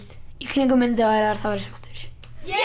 kringum myndavélar þá er ég